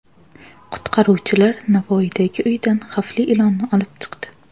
Qutqaruvchilar Navoiydagi uydan xavfli ilonni olib chiqdi.